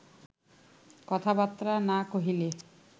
কথাবার্তা না কহিলে